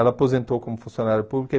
Ela aposentou como funcionária pública.